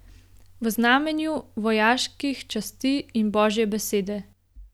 V znamenju vojaških časti in božje besede.